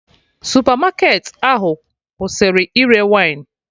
Supermarket ahụ kwụsịrị ire wine